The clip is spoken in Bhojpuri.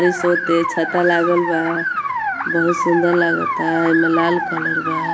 छाता लागल बा बहुत सुंदर लागता एमे लाल कलर बा।